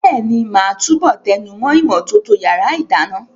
Bẹ́ẹ̀ni, màá túbọ̀ tẹnumọ́ ìmọ́tótó yàrá ìdáná.